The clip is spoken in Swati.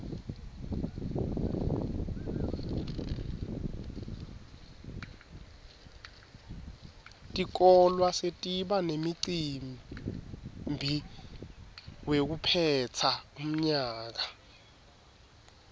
tikolwa setiba nemicimbi wekuphetsa umnyaka